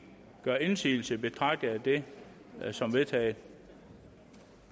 gør indsigelse betragter jeg dette som vedtaget